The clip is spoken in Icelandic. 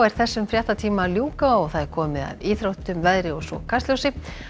þessum fréttatíma er að ljúka og komið að íþróttum veðri og Kastljósi